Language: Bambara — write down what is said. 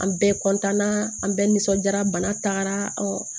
An bɛɛ an bɛɛ nisɔndiyara bana tagara